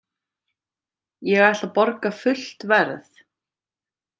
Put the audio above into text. Ég ætla að borga fullt verð.